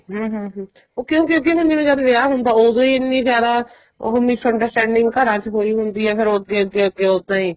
ਹਮ ਹਮ ਉਹ ਕਿਉਂ ਕਿਉਂਕਿ ਉਹਨੇ ਜਿਆਦਾ ਵਿਆਹ ਹੁੰਦਾ ਉਦੋ ਈ ਇੰਨੇ ਜਿਆਦਾ ਉਹ misunderstanding ਘਰ ਚ ਹੋਈ ਹੁੰਦੀ ਏ ਫੇਰ ਅੱਗੇ ਅੱਗੇ ਉੱਦਾਂ ਈ